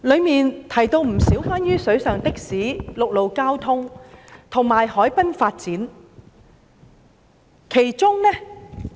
當中提及不少關於"水上的士"、陸路交通，以及海濱發展的建議。